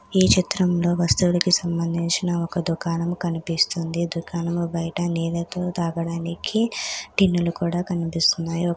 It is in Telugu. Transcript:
ఈ చిత్రంలో వస్తువులకి సంబంధించిన ఒక దుకాణము కనిపిస్తుంది. దుకాణము బయట నీళ్ళతో తాగడానికి టిన్నులు కూడా కనిపిస్తున్నాయి. ఒక--